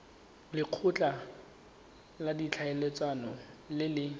lekgotla la ditlhaeletsano le le